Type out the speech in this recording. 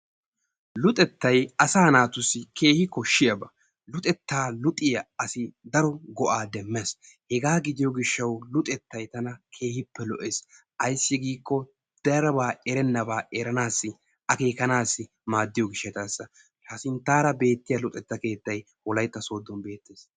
Luxettay asa naatuussi keehi koshiyaaba, luxetta luxiyaa asi daro go'a demmees. hega gidiyo gishaw luxetta tana keehippe lo''es ayssi giiko daroba eranassi akekkanassi maadiyo gishshassa. ha sinttara beettiya luxetta keettay Wolaytta Sooddon beettees.